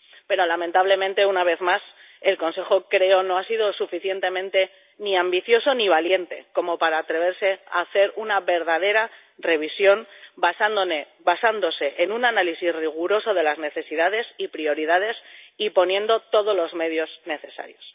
Pero, lamentablemente, una vez más, el Consejo —creo— no ha sido suficientemente ambicioso ni valiente como para atreverse a hacer una verdadera revisión basándose en un análisis riguroso de las necesidades y prioridades, y poniendo todos los medios necesarios.